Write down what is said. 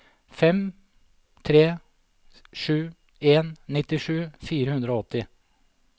fem tre sju en nittisju fire hundre og åtti